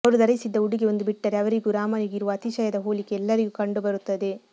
ಅವರು ಧರಿಸಿದ್ದ ಉಡುಗೆ ಒಂದು ಬಿಟ್ಟರೆ ಅವರಿಗೂ ರಾಮನಿಗೂ ಇರುವ ಅತಿಶಯದ ಹೋಲಿಕೆ ಎಲ್ಲರಿಗೂ ಕಂಡುಬರುತ್ತದೆ